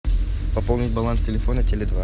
пополнить баланс телефона теле два